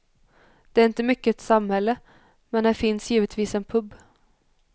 Det är inte mycket till samhälle, men här finns givetvis en pub.